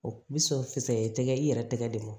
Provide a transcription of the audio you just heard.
i bi sɔrɔ sisan i tɛgɛ i yɛrɛ tɛgɛ de mɔ